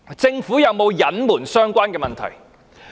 政府有沒有隱瞞相關的問題？